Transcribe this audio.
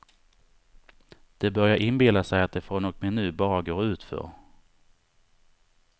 De börjar inbilla sig att det från och med nu bara går utför.